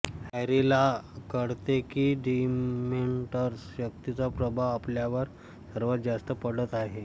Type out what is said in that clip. हॅरीला कळते की डिमेंटर्स शक्तीचा प्रभाव आपल्यावर सर्वात जास्त पडत आहे